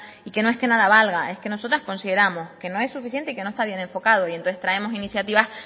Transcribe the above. y que no es que nada valga es que nosotras consideramos que no hay suficiente y que no está bien enfocado y entonces traemos iniciativas